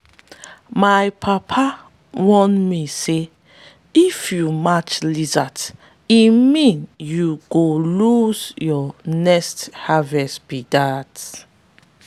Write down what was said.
my papa warn me say if you march lizard e mean you go lose your next harvest be dat.